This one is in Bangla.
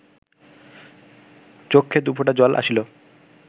চক্ষে দুফোঁটা জল আসিল